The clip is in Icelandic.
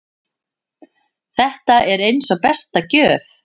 Þetta var eins og besta gjöf.